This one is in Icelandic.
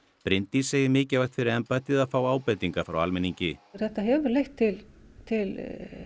Bryndís segir mikilvægt fyrir embættið að fá ábendingar frá almenningi þetta hefur leitt til til